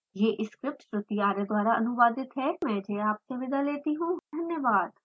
I I T Bombay से मैं श्रुति आर्य आपसे विदा लेती हूँ हमसे जुड़ने के लिए धन्यवाद